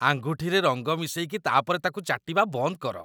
ଆଙ୍ଗୁଠିରେ ରଙ୍ଗ ମିଶେଇକି ତା'ପରେ ତା'କୁ ଚାଟିବା ବନ୍ଦ କର ।